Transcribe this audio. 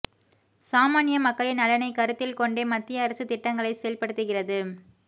சாமான்ய மக்களின் நலனை கருத்தில் கொண்டே மத்திய அரசு திட்டங்களை செயல்படுத்துகிறது